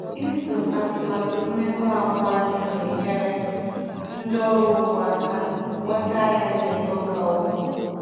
Iso atụmatụ mmepe agbụ ahịa na-enyere ndị ọrụ ugbo aka nweta ahịa na ego ka ukwuu.